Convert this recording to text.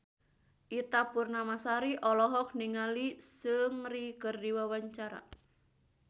Ita Purnamasari olohok ningali Seungri keur diwawancara